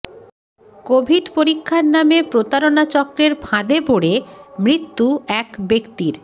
Covid পরীক্ষার নামে প্রতারণা চক্রের ফাঁদে পড়ে মৃত্যু এক ব্য়াক্তির